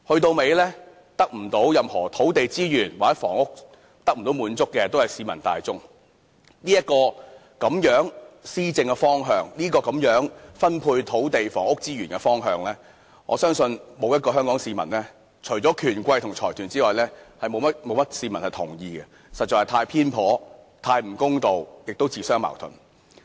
到頭來，分配不到任何土地房屋資源的都是市民大眾，這種施政方向或分配土地房屋資源的方向，我相信除了權貴和財團外，沒有一位香港市民會同意，因為實在是太偏頗，太不公道，同時亦自相矛盾。